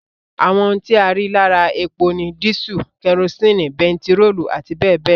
Àwọn ohun tí a rí lára epo ni dísù, kerosini, bentiróòlù àti bẹẹbẹẹ lọ